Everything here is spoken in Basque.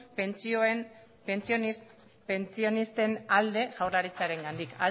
pentsionisten alde jaurlaritzarengandik